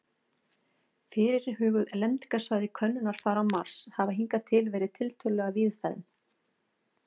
Fyrirhuguð lendingarsvæði könnunarfara á Mars hafa hingað til verið tiltölulega víðfeðm.